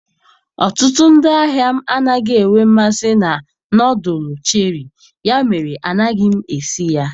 Ọtụtụ ndị ahịa m anaghị enwe mmasị na nọdụlụ cheri, ya mere anaghị m esi ya.